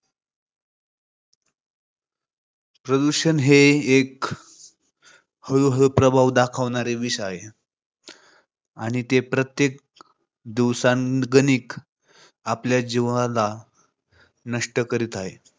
प्रदूषण हे एक हळू हळू प्रभाव दाखवणारे विष आहे. आणि ते प्रत्येक दिवसागणिक आपल्या जीवनाला नष्ट करीत आहे.